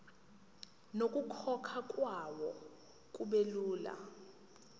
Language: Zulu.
nokukhokhwa kwayo kubelula